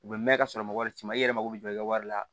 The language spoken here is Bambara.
U bɛ mɛn ka sɔrɔ mɔgɔ si ma i yɛrɛ mako bɛ jɔ i ka wari la